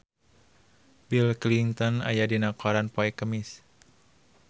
Bill Clinton aya dina koran poe Kemis